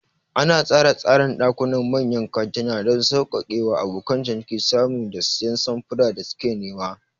Ana tsara tsarin ɗakunan manyan kantuna don sauƙaƙe wa abokan ciniki samun da siyan samfuran da suke nema.